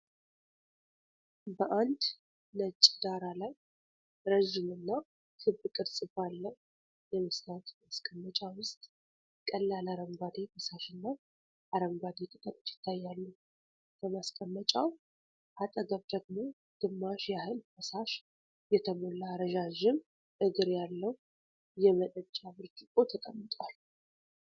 በአንድ ነጭ ዳራ ላይ፣ ረዥም እና ክብ ቅርጽ ባለው የመስታወት ማስቀመጫ ውስጥ ቀላል አረንጓዴ ፈሳሽና አረንጓዴ ቅጠሎች ይታያሉ። ከማስቀመጫው አጠገብ ደግሞ ግማሽ ያህል ፈሳሽ የተሞላ ረዣዥም እግር ያለው የመጠጫ ብርጭቆ ተቀምጧል።